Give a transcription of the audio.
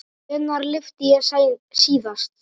Hvenær lyfti ég síðast?